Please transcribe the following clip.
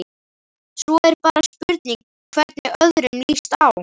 Svo er bara spurning hvernig öðrum lýst á?